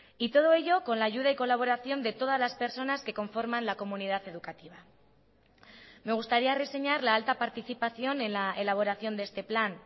y todo ello con la ayuda y colaboración de todas las personas que conforman la comunidad educativa me gustaría reseñar la alta participación en la elaboración de este plan